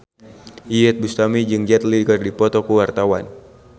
Iyeth Bustami jeung Jet Li keur dipoto ku wartawan